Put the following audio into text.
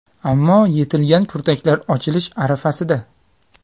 Ammo yetilgan kurtaklar ochilish arafasida.